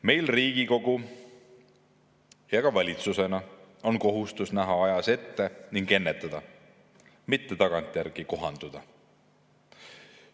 Meil Riigikogu ja ka valitsusena on kohustus näha ajas ette ning ennetada, mitte tagantjärele kohanduda.